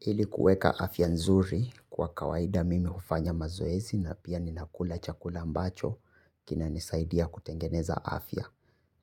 Ili kueka afya nzuri kwa kawaida mimi hufanya mazoezi na pia ninakula chakula ambacho kina nisaidia kutengeneza afya.